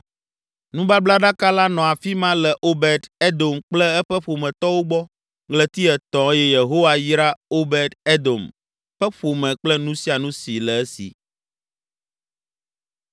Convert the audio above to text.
Nubablaɖaka la nɔ afi ma le Obed Edom kple eƒe ƒometɔwo gbɔ ɣleti etɔ̃ eye Yehowa yra Obed Edom ƒe ƒome kple nu sia nu si le esi.